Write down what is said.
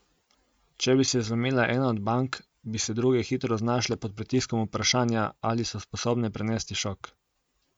Če bi se zlomila ena od bank, bi se druge hitro znašle pod pritiskom vprašanja, ali so sposobne prenesti šok.